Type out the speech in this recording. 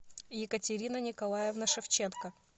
екатерина николаевна шевченко